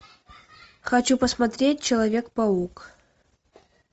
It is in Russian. хочу посмотреть человек паук